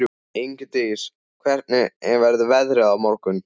Ingdís, hvernig verður veðrið á morgun?